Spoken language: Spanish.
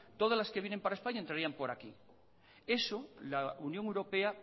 todas las que vienen para españa entrarían por aquí eso la unión europea